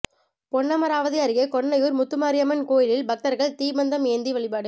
பொன்னமராவதி அருகே கொன்னையூர் முத்துமாரியம்மன் கோயிலில் பக்தர்கள் தீப்பந்தம் ஏந்தி வழிபாடு